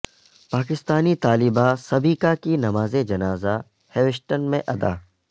پاکستانی طالبہ سبیکا کی نماز جنازہ ہیوسٹن میں ادا